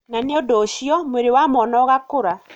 Na nĩ ũndũ ũcio, mwĩrĩ wa mwana ũgakũra.